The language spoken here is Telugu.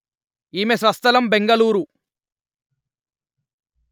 ఈమె స్వస్థలము బెంగుళూరు